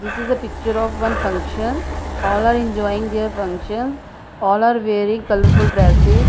this is the picture of one function all are enjoying their function all are wearing colourful dresses.